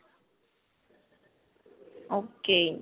ok.